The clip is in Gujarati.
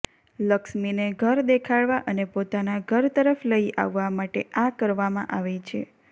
લક્ષ્મીને ઘર દેખાડવા અને પોતાના ઘર તરફ્ લઈ આવવા માટે આ કરવામાં આવે છે